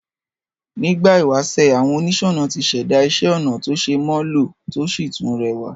Nígbà ìwásè, àwon onísònà tí sèda isé onà to se mó lò to si tún rewà